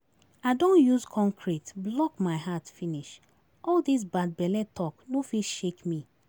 I don use concrete block my heart finish, all dis bad belle talk no fit shake me